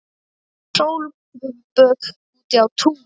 Sólböð úti á túni.